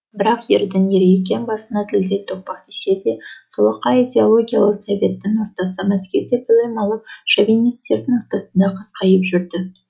бірақ ердің ері екен басына зілдей тоқпақ тисе де солақай идеологиялы советтің ордасы мәскеуде білім алып шовинистердің ортасында қасқайып жүрді